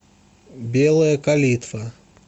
белая калитва